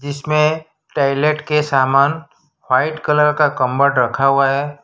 इसमें टॉयलेट के समान व्हाइट कलर का कम्बड रखा हुआ है।